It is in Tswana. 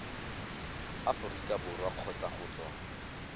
aforika borwa kgotsa go tswa